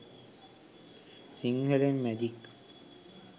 sinhalen magic